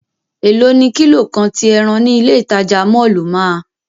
Elo ni kilo kan ti ẹran ni ile itaja mọllu máa?